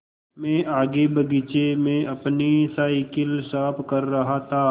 मैं आगे बगीचे में अपनी साईकिल साफ़ कर रहा था